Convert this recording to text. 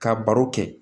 Ka baro kɛ